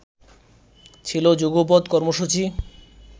ছিলো যুগপৎ কর্মসূচি